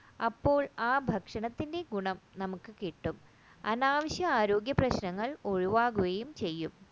അപ്പോൾ ആ ഭക്ഷണത്തിന്റെ ഗുണം നമുക്ക് കിട്ടും അനാവശ്യ ആരോഗ്യ പ്രശ്നങ്ങൾ ഒഴിവാക്കുകയും ചെയ്യും